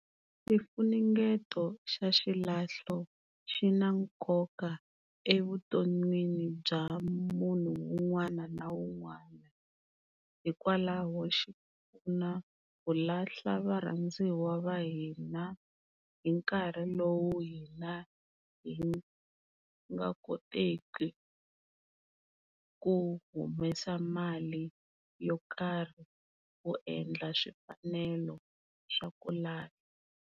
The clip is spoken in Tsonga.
Xifunengeto xa xilahlo xi na nkoka evuton'wini bya munhu un'wana na un'wana, hikwalaho xi na ku lahla varhandziwa va hina hi nkarhi lowu hina hi nga koteki ku humesa mali yo karhi ku endla swifanelo swa ku lahla.